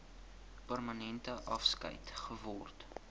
permanente afskeid geword